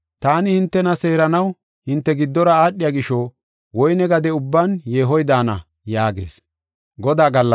Taani hintena seeranaw hinte giddora aadhiya gisho, woyne gade ubban yeehoy daana” yaagees.